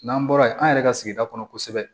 N'an bɔra yen an yɛrɛ ka sigida kɔnɔ kosɛbɛ